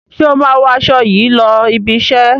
Ṣé o máa wọ aṣọ yìí lọ ibi-iṣẹ́?